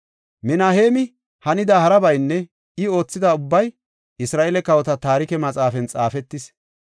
Minaheemi hanida harabaynne I oothidaba ubbay Isra7eele Kawota Taarike Maxaafan xaafetis.